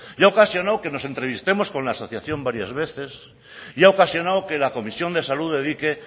y ha ocasionado que nos entrevistemos con la asociación varias veces y ha ocasionado que la comisión de salud dedique